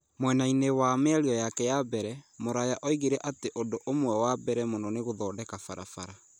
Mwena-inĩ wa mĩario yake ya mbere, Mũraya oigire atĩ ũndũ ũmwe wa mbere mũno nĩ gũthondeka barabara.